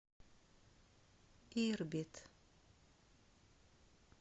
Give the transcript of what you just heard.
ирбит